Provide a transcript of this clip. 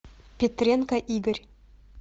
петренко игорь